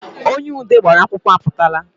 Onye ude gbara akwụkwọ apụtaala